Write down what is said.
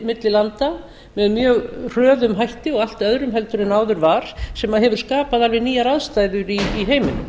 milli landa með mjög hröðum hætti og allt öðrum en áður var sem hefur skapað alveg nýjar aðstæður í heiminum